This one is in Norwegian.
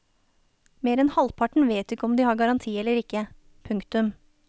Mer enn halvparten vet ikke om de har garanti eller ikke. punktum